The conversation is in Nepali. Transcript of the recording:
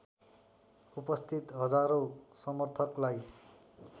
उपस्थित हजारौं समर्थकलाई